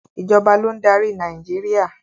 Ìjọba ló ń darí Nàìjíríà.